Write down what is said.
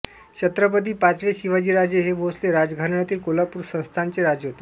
छत्रपती पाचवे शिवाजीराजे हे भोसले राजघराण्यातील कोल्हापूर संस्थानचे राजे होते